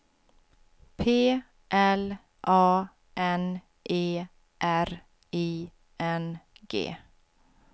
P L A N E R I N G